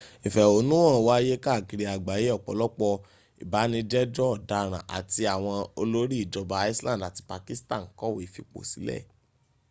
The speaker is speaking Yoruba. ìfẹ̀hónúhàn wáyé káàkiri àgbáyé ọ̀pọ̀lọpọ̀ ìbánijẹ́jọ́ ọ̀daràn áti àwọn òlórí ìjọba iceland àti pakistan kọ̀wé fìposílè